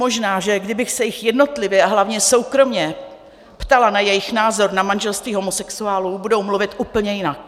Možná že kdybych se jich jednotlivě a hlavně soukromě ptala na jejich názor na manželství homosexuálů, budou mluvit úplně jinak.